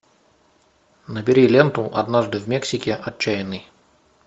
набери ленту однажды в мексике отчаянный